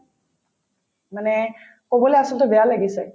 মানে কবলে আচলতে বেয়াও লাগিছে